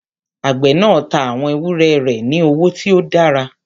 Àgbẹ̀ náà tá àwọn ewúrẹ́ rẹ̀ ní owó tí ó dára.